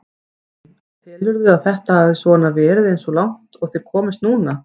Lillý: En telurðu að þetta hafi svona verið eins og langt og þið komist núna?